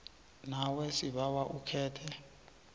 nawe sibawa ukhethe